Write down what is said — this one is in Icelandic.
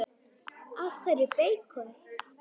Af hverju beikon?